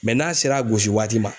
n'a sera gosiwaati ma